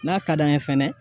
N'a ka d'an ye fɛnɛ